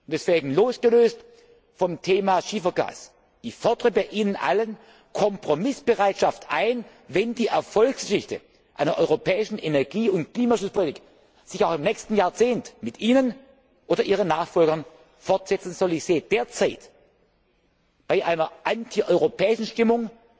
Deswegen Losgelöst vom Thema Schiefergas fordere ich bei Ihnen allen Kompromissbereitschaft ein, wenn die Erfolgsgeschichte einer europäischen Energie und Klimaschutzpolitik sich auch im nächsten Jahrzehnt mit Ihnen oder Ihren Nachfolgern fortsetzen soll. Ich sehe derzeit bei einer antieuropäischen Stimmung